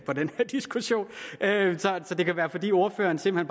så det kan være fordi ordføreren simpelt